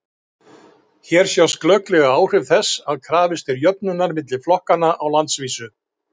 Hér sjást glögglega áhrif þess að krafist er jöfnunar milli flokkanna á landsvísu.